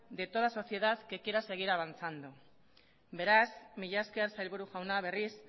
de toda sociedad que quiera seguir avanzando beraz mila esker sailburu jauna berriz